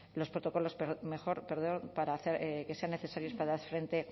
los protocolos que sean necesarios para hacer frente